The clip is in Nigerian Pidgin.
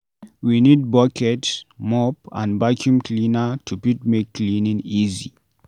We need bucket, mop and vaccum cleaner to fit make cleaning easy